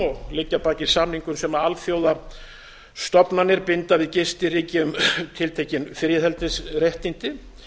og liggja að baki samningum sem alþjóðastofnanir binda við gistiríki um tiltekin friðhelgisréttindi